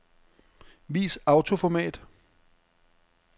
Vis autoformat.